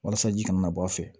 Walasa ji kana na bɔ a fɛ